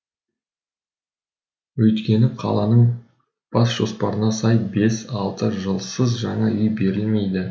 өйткені қаланың бас жоспарына сай бес алты жылсыз жаңа үй берілмейді